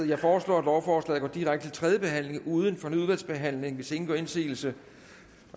jeg foreslår at lovforslaget går direkte til tredje behandling uden fornyet udvalgsbehandling hvis ingen gør indsigelse